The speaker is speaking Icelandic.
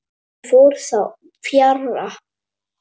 Því fer þó fjarri.